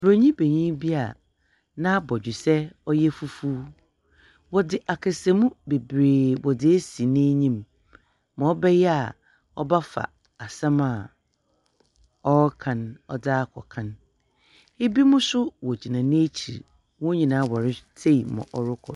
Buronyim benyin bi a n'abɔdwesɛ ɔyɛ fufuw. Wɔdze akasamu beberee wɔdze esi n'enyim ma ɔbɛyɛ a ɔbɛfa asɛm a ɔreka no ɔdze akɔ kan. Binom nso wogyina n'ekyir. Hɔn nyinaa wɔretsei ma ɔrokɔ .